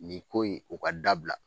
Nin ko in, o ka dabila.